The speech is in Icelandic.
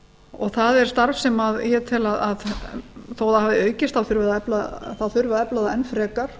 og það er starf sem ég tel að þó það hafi aukist þá þurfi að efla það enn frekar